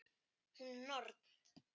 Hún er norn.